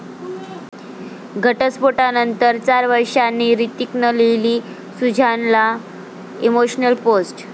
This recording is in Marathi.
घटस्फोटानंतर चार वर्षांनी हृतिकनं लिहिली सुझानला इमोशनल पोस्ट